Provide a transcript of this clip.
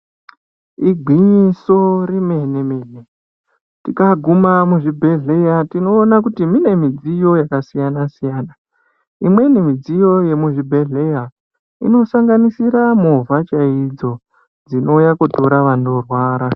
Igwinyiso remene mene , tikaguma muzvibhedhlera tinoona kuti mune midziyo yakasiyana siyana imweni midziyo yemuzvibhedhlera inosanganisira movha chaidzo dzinouya kotora vanorwara.